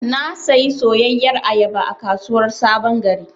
Na sayi soyayyar ayaba a kasuwar sabon gari.